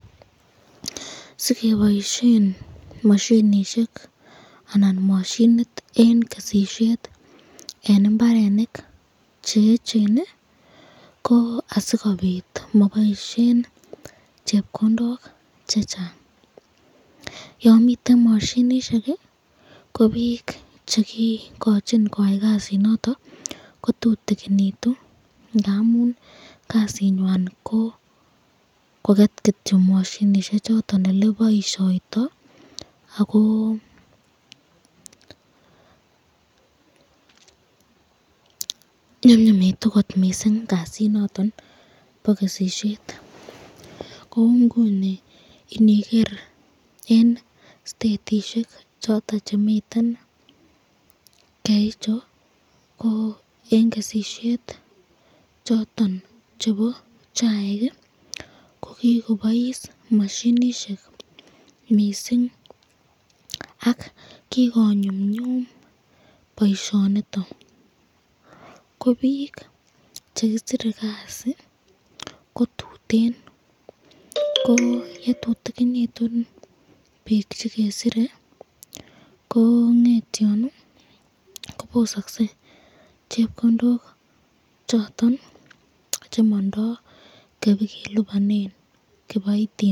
Sikeboisyen mashinishek anan mashinit eng kesishet eng imbarenik cheechen, ko asikobit maboisyen chepkondok chechang, yon miten mashinishek ko bik chekikochin koyaen kasit noton, kotutikinityn ngamun kasit nondon